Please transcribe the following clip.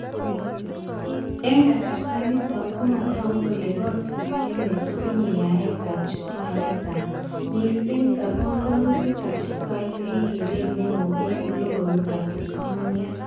Eng kasarta nito komataku kole katutiet ni kotinye yaetab chukwait netaa, mising nga banganutikab chukwait eng keret neo eng logoiwekab kipsomaniat